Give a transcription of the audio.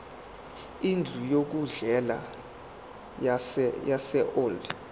indlu yokudlela yaseold